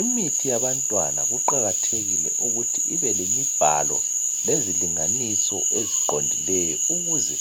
Imithi yabantwana kuqakathekile ukuthi ibelemibhalo, lezilinganiso eziqondileyo. Ukuze